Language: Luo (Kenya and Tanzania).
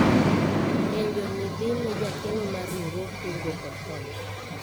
penjo ni dhine jakeno mar riwruog kungo kod hola